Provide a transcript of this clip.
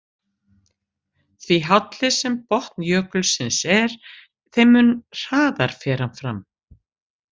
Því hálli sem botn jökulsins er, þeim mun hraðar fer hann fram.